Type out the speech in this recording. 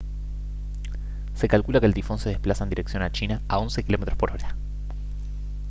se calcula que el tifón se desplaza en dirección a china a 11 km/h